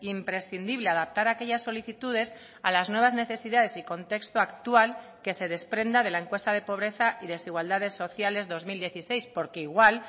imprescindible adaptar aquellas solicitudes a las nuevas necesidades y contexto actual que se desprenda de la encuesta de pobreza y desigualdades sociales dos mil dieciséis porque igual